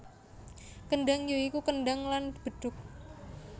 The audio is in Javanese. Kendhang ya iku kendhang lan bedhug